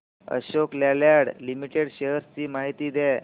Ashok Leyland limited shares ची माहिती द्या